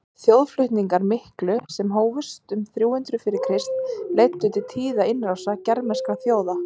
þjóðflutningarnir miklu sem hófust um þrjú hundruð fyrir krist leiddu til tíðra innrása germanskra þjóða